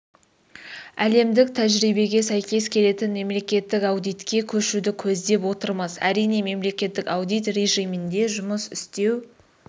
әлемдік тәжірибеге сәйкес келетін мемлекеттік аудитке көшуді көздеп отырмыз әрине мемлекеттік аудит режимінде жұмыс істеу